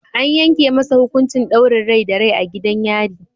An yanke masa hukuncin daurin rai da rai a gidan yari.